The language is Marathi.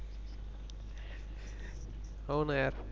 हो न यार